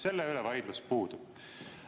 Selle üle vaidlus puudub.